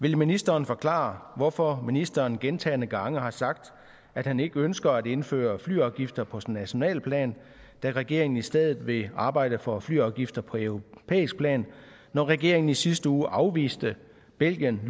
vil ministeren forklare hvorfor ministeren gentagne gange har sagt at han ikke ønsker at indføre flyafgifter på nationalt plan da regeringen i stedet vil arbejde for flyafgifter på europæisk plan når regeringen i sidste uge afviste belgiens